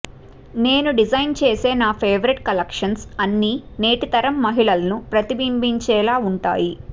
నేను డిజైన్ చేసే నా ఫేవరైట్ కలెక్షన్స్ అన్నీ నేటితరం మహిళలను ప్రతిబింబించేలా ఉంటాయి